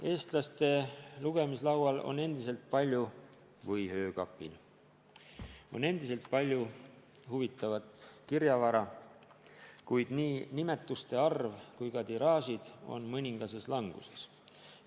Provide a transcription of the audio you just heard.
Eestlaste lugemislaual – või öökapil – on endiselt palju huvitavat kirjavara, kuid nii nimetuste arv kui ka tiraažid on mõningases languses.